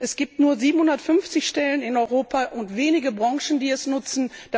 Es gibt nur 750 Stellen in Europa und wenige Branchen, die sie nutzen.